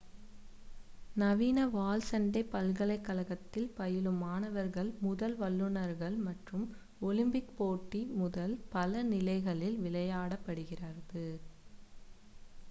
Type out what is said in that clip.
நவீன வாள் சண்டை பல்கலைக் கழகத்தில் பயிலும் மாணவர்கள் முதல் வல்லுனர்கள் மற்றும் ஒலிம்பிக் போட்டி முதல் பல நிலைகளில் விளையாடப்படுகிறது